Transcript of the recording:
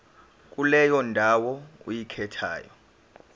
kuleyo ndawo oyikhethayo